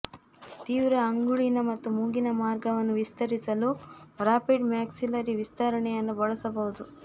ತೀವ್ರ ಅಂಗುಳಿನ ಮತ್ತು ಮೂಗಿನ ಮಾರ್ಗವನ್ನು ವಿಸ್ತರಿಸಲು ರಾಪಿಡ್ ಮ್ಯಾಕ್ಸಿಲ್ಲರಿ ವಿಸ್ತರಣೆಯನ್ನು ಬಳಸಬಹುದು